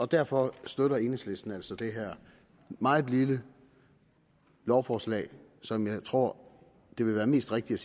derfor støtter enhedslisten altså det her meget lille lovforslag som jeg tror det vil være mest rigtigt